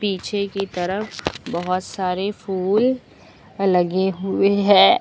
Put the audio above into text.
पीछे की तरफ बहोत सारे फूल लगे हुए हैं।